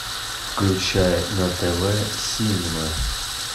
включай на тв синема